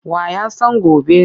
Wa ya san gobe?